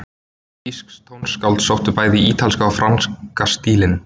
Þýsk tónskáld sóttu bæði í ítalska og franska stílinn.